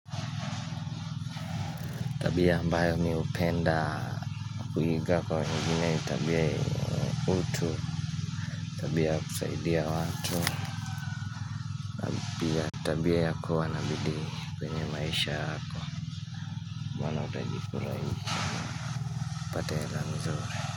Tabia ambayo mimi hupenda kuiga kwa wengine ni tabia yenye utu Tabia ya kusaidia watu Tabia ya kuwa nabidii kwenye maisha yako mwana utajikura hii Pate ela nzuri.